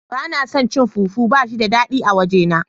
Bana son cin fufu bashi da dadi a waje na.